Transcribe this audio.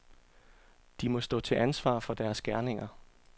De må stå til ansvar for deres gerninger.